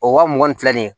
O wa mugan ni fila ni